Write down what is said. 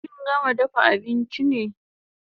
Kin gama dafa abinchi ne?